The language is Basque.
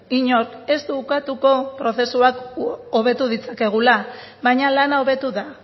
inork ez du ukatuko prozesuak hobetu ditzakegula baina lana hobetu da